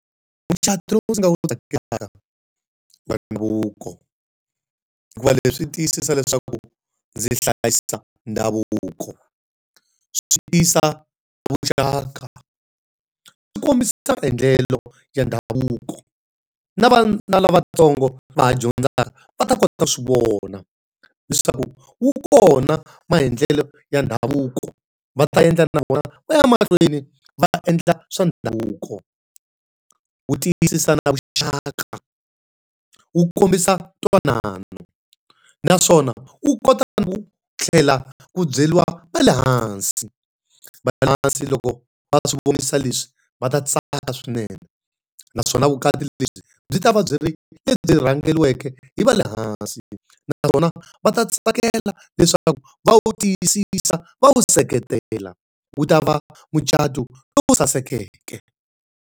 Mucato lowu ndzi nga wu tsakelaka i wa ndhavuko, hikuva leswi swi tiyisisa leswaku ndzi hlayisa ndhavuko. Swi tiyisa vuxaka, swi kombisa maendlelo ya ndhavuko. Na na lavatsongo va ha dyondzaka va ta kota ta swi vona leswaku wu kona maendlelo ya ndhavuko va ta endla na vona va ya mahlweni va endla swa ndhavuko. Wu tiyisisa na vuxaka, wu kombisa ntwanano naswona wu kota na ku tlhela ku byeriwa va le hansi. Va le hansi loko va swi vonisa leswi va ta tsaka swinene, naswona vukati lebyi byi ta va byi ri lebyi rhangeriweke hi va le hansi. Na vona va ta tsakela leswaku va wu tiyisisa va wu seketela, wu ta va mucato lowu sasekeke.